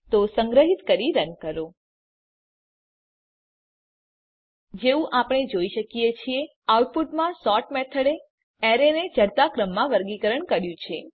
તો સંગ્રહીત કરી રન કરો જેવું કે આપણે જોઈ શકીએ છીએ આઉટપુટમાં સોર્ટ મેથડે એરેને ચઢતા ક્રમમાં વર્ગીકરણ કર્યું છે